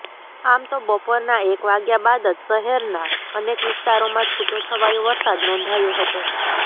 આમ તો બપોરના એક વાગ્યા બાદ જ શહેરના અનેક વિસ્તારોમાં છૂટોછવાયો વરસાદ નોંધાયો હતો